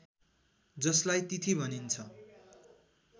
जसलाई तिथि भनिन्छ